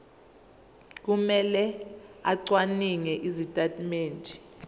kumele acwaninge izitatimende